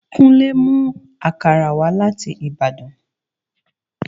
Kúnlé mú àkàrà wá láti Ìbàdàn